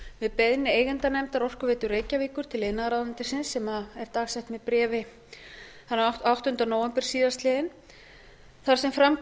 við beiðni eigendanefndar orkuveitu reykjavíkur til iðnaðarráðuneytisins sem er dagsett með bréfi þann áttunda nóvember síðastliðinn þar sem fram